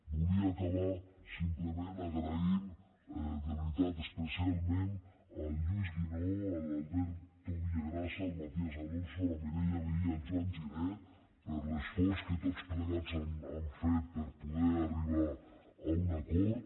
volia acabar simplement donant les gràcies de veritat especialment al lluís guinó a l’alberto villagrasa al matías alonso a la mireia vehí i al joan giner per l’esforç que tots plegats han fet per poder arribar a un acord